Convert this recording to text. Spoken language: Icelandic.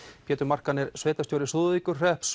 Pétur Markan er sveitarstjóri Súðavíkurhrepps